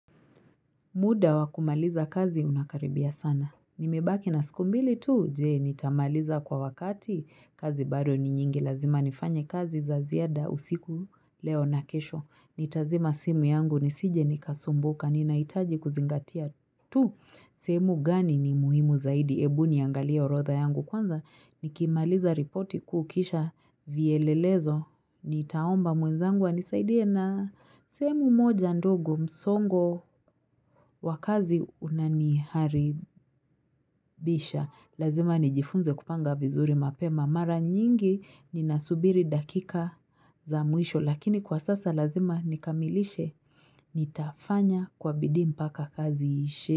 Muda wa kumaliza kazi unakaribia sana. Nimebaki na siku mbili tu, je nitamaliza kwa wakati kazi bado ni nyingi lazima nifanye kazi za ziada usiku leo na kesho. Nitazima simu yangu nisije nikasumbuka, ninahitaji kuzingatia tu. Sheemu gani ni muhimu zaidi, ebu niangalia orodha yangu kwanza, nikimaliza ripoti kukisha vielelezo. Nitaomba mwenzangu anisaidie na sehemu moja ndogo msongo wa kazi unaniharibisha. Lazima nijifunze kupanga vizuri mapema. Mara nyingi ninasubiri dakika za mwisho. Lakini kwa sasa lazima nikamilishe nitafanya kwa bidii mpaka kazi iishe.